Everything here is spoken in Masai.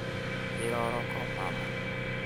kiroroko mama